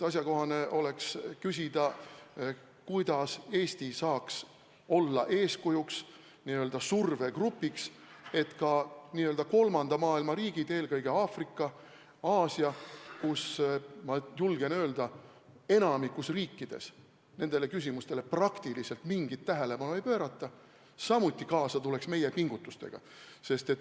Asjakohane oleks küsida, kuidas Eesti saaks olla eeskujuks, n-ö survegrupiks, et ka Kolmanda Maailma riigid, eelkõige Aafrika ja Aasia, kus, ma julgen öelda, enamikus riikides nendele küsimustele praktiliselt mingit tähelepanu ei pöörata, samuti meie pingutustega kaasa tuleks.